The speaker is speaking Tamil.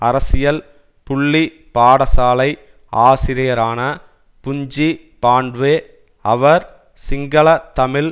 அரசியல் புள்ளி பாடசாலை ஆசிரியரான புஞ்சி பாண்ட்வே அவர் சிங்களதமிழ்